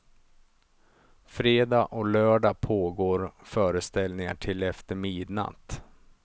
Fredag och lördag pågår föreställningar till efter midnatt.